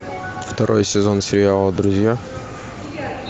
второй сезон сериала друзья